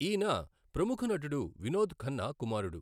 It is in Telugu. ఈయన ప్రముఖ నటుడు వినోద్ ఖన్నా కుమారుడు.